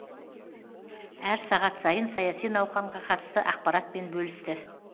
әр сағат сайын саяси науқанға қатысты ақпаратпен бөлісті